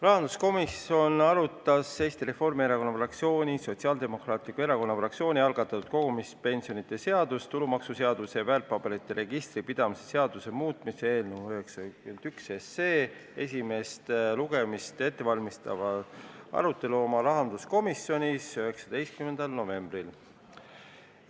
Rahanduskomisjon arutas Eesti Reformierakonna fraktsiooni ja Sotsiaaldemokraatliku Erakonna fraktsiooni algatatud kogumispensionide seaduse, tulumaksuseaduse ja väärtpaberite registri pidamise seaduse muutmise seaduse eelnõu 91 enne esimest lugemist 19. novembril.